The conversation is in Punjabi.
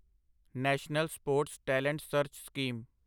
national sports talent search scheme